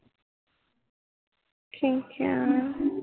ਠੀਕ ਕਿਹਾ